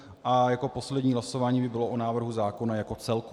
A jako poslední hlasování by bylo o návrhu zákona jako celku.